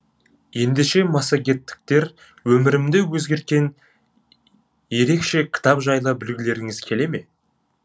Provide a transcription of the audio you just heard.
ендеше массагеттіктер өмірімді өзгерткен ереше кітап жайлы білгілеріңіз келе ме